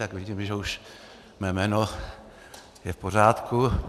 Tak vidím, že už mé jméno je v pořádku.